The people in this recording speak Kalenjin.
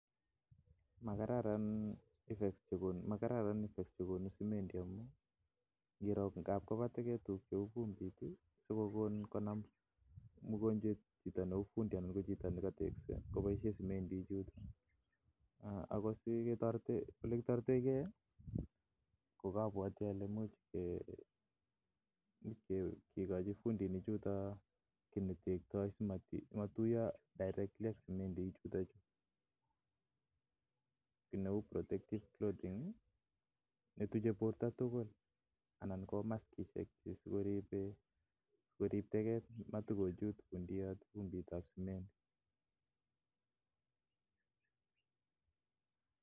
Makararan effects chebo semendi amuun anan ko baa fumbit ko chito nekatekse kobaisien simendi ichuton akoi olekitoreten ke ih kokabuati ale imuch eh kikochi fundinik chuton ki netekta amuun matuya ki neuu protective cloth en yu netuche borta tugul anan ko makisisiek cheribe korib teget matkochut bundoyot fumbitab semendi